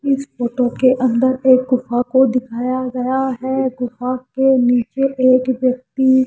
इस फोटो के अंदर एक गुफा को दिखाया गया है गुफा के नीचे एक व्यक्ति।